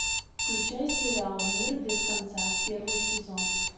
включай сериал мир без конца первый сезон